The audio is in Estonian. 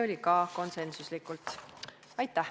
Aitäh!